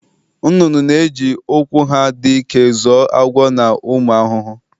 Nnụnụ na-eji ụkwụ ha dị ike zọọ agwọ na ụmụ ahụhụ.